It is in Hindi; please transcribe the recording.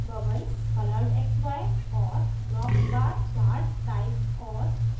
3 bubble coloredxy और dropbar chart types और